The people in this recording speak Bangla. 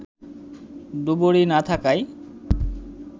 ডুবুরি না থাকায়